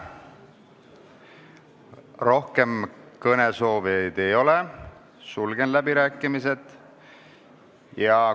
Rohkem kõnesoovijaid ei ole, sulgen läbirääkimised.